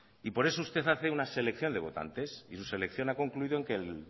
por eso usted hace una selección de votantes y su selección ha concluido en que el